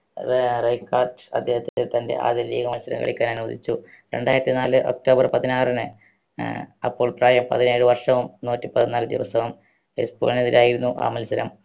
അദ്ദേഹത്തിൻറെ തൻറെ ആദ്യ league മത്സരം കളിയ്ക്കാൻ അനുവദിച്ചു രണ്ടായിരത്തി നാല് ഒക്ടോബർ പതിനാറിന് ഏർ അപ്പോൾ പ്രായം പതിനേഴ് വർഷവും നൂറ്റിപ്പതിനാല് ദിവസവും എസ്പാനോയോടായിരുന്നു ആ മത്സരം